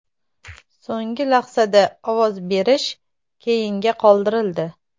So‘nggi lahzada ovoz berish keyinga qoldirildi.